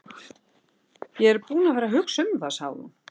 Ég er búin að vera að hugsa um það, sagði hún.